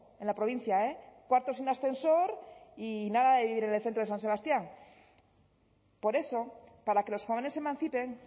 en la provincia eh cuarto sin ascensor y nada de vivir en el centro de san sebastián por eso para que los jóvenes se emancipen